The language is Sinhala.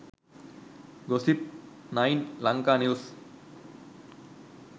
gossip 9 lanka news